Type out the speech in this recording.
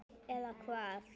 Eða hvað.